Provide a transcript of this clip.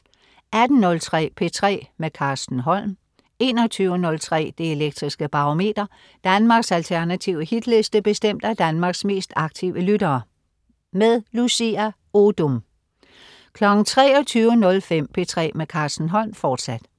18.03 P3 med Carsten Holm 21.03 Det Elektriske Barometer. Danmarks alternative Hitliste bestemt af Danmarks mest aktive lyttere. Lucia Odoom 23.05 P3 med Carsten Holm, fortsat